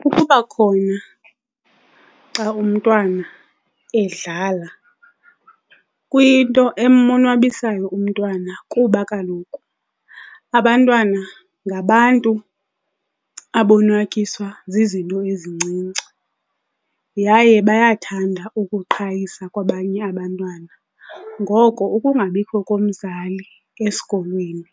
Kukuba khona xa umntwana edlala kwinto emonwabisayo umntwana. Kuba kaloku abantwana ngabantu abonwatyiswa zizinto ezincinci yaye bayathanda ukuqhayisa kwabanye abantwana. Ngoko ukungabikho komzali esikolweni